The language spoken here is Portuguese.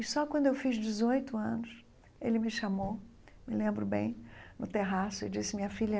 E só quando eu fiz dezoito anos, ele me chamou, me lembro bem, no terraço e disse, minha filha,